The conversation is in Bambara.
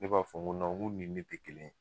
Ne b'a fɔ n ko nɔn, n kun ni ne te kelen ye.